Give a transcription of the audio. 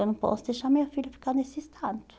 Eu não posso deixar minha filha ficar nesse estado.